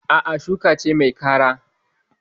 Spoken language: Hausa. A'a, shuka ce mai kara.